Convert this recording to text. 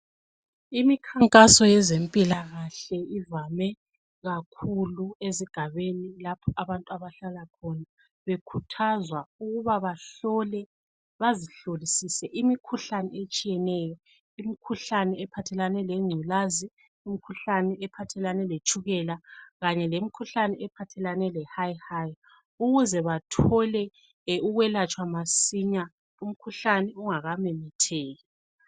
Imikhankaso yezempilakahle, ivame kakhulu ezigabeni lapho abantu abahlala khona. Bekhuthazwa ukuba bahlole, bazihlolisise, imikhuhlane etshiyeneyo. lmikhuhlane ephathelane lengculazi, lmikhuhlane ephathelane letshukeka. Kanye lemikhuhlane, ephathelane lehayihayi. Ukuze bathole ukwelatshwa masinya, umkhuhlane, ungakamemetheki.